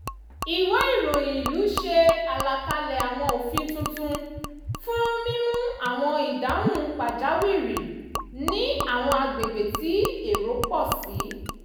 ìwé ìròyìn ìlú ṣe àlàkalẹ̀ àwọn òfin tuntun fún mímú àwọn ìdáhùn pàjáwìrì ní àwọn agbègbè tí èrò pọ̀ sí